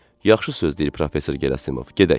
Yaxşı söz deyil professor Gerasimov, gedək.